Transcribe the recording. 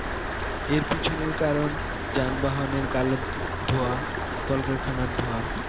এর পিছনের কারণ যানবাহনের কালো ধোঁয়া কলকারখানার ধোঁয়া